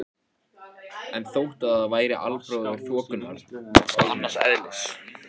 En þótt það væri albróðir þokunnar var það annars eðlis.